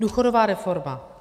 Důchodová reforma.